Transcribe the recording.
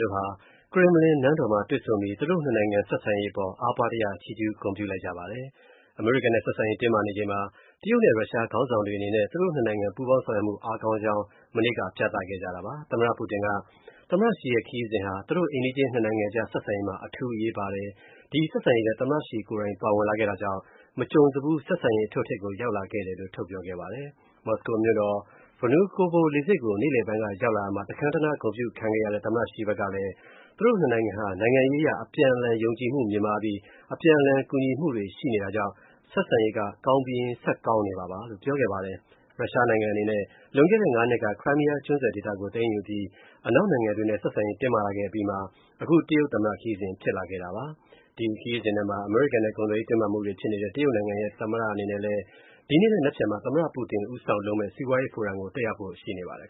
တို့ဟာ ကရင်မလင် နန်းတော်မှာ တွေ့ဆုံပြီး သူတို့ (၂) နိုင်ငံ ဆက်ဆံရေး အပေါ် ချီးကျူး ဂုဏ်ပြုလိုက်ကြပါတယ်။ အမေရိကန်နဲ့ ဆက်ဆံရေး တင်းမာနေချိန်မှာ တရုတ်နဲ့ ရုရှားခေါင်းဆောင်တွေ အနေနဲ့ (၂) နိုင်ငံ ပူးပေါင်းဆောင်ရွက်မူ အားကောင်းနေကြောင်း မနေ့က ပြသခဲ့တာပါ။ သမ္မတ Putin က သမ္မတ Xi ရဲ့ ရုရှားခရီးစဉ်ဟာ သူတို့ အိမ်နီးချင်း (၂) နိုင်ငံအကြား ဆက်ဆံရေးမှာ အထူးအရေးပါတယ်၊ သမ္မတ Xi ကိုယ်တိုင်ပါဝင်လာတာကြောင့် မကြုံစဖူး ဆက်ဆံရေး အထွဋ်အထိပ်ကို ရောက်လာခဲ့တယ်လို့ ထုတ်ပြောခဲ့ပါတယ်။ မော်စကိုမြို.တော်က Vnukovo လေဆိပ်ကို နေ့လည်ပိုင်း ရောက်လာရာမှာ တခမ်းတနား ဂုဏ်ပြုခံခဲ့ရတဲ့ သမ္မတ Xi ဖက်ကလည်း သူတို့ (၂) နိုင်ငံဟာ နိုင်ငံရေးအရ အပြန်အလှန်ယုံကြည်မူမြင့်မားပြီး အပြန်အလှန် ကူညီမှုရှိတာကြောင့် ဆက်ဆံရေးက ကောင်းပြီးရင်း ဆက်ကောင်းနေမှာပါလို့ ပြောခဲ့ပါတယ်။ ရုရှားနိုင်ငံ အနေနဲ့ လွန်ခဲ့တဲ့ (၅) နှစ်က Crimea ကျွန်းဆွယ်ဒေသကို သိမ်းယူအပြီး အနောက်နိုင်ငံတွေနဲ့ ဆက်ဆံရေး တင်းမာလာခဲ့ အပြီးမှာ အခု တရုတ်သမ္မတ ခရီးစဉ်ဖြစ်လာတာပါ။ ဒီခရီးစဉ်ထဲမှာ အမေရိကန်နဲ့ ကုန်သွယ်ရေး တင်းမာမူတွေ ဖြစ်နေတဲ့ တရုတ်နိုင်ငံရဲ့ သမ္မတ အနေနဲ့ ဒီနေ့နဲ့ နက်ဖြန်မှာ သမ္မတ Putin ဦးဆောင်လုပ်မဲ့ စီးပွားရေးဖိုရမ်ကို တက်ရောက်ဖို့ရှိပါတယ်